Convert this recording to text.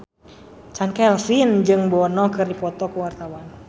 Chand Kelvin jeung Bono keur dipoto ku wartawan